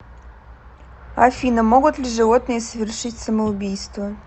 афина могут ли животные совершить самоубийство